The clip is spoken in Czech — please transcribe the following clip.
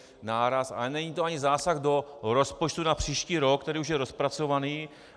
Ale není to ani zásah do rozpočtu na příští rok, který už je rozpracovaný.